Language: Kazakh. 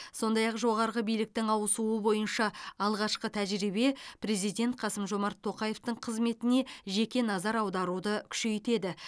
сондай ақ жоғарғы биліктің ауысуы бойынша алғашқы тәжірибе президент қасым жомарт тоқаевтың қызметіне жеке назар аударуды күшейтеді